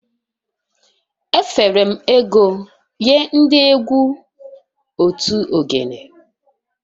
Efere m ego nye ndị egwu otu ogene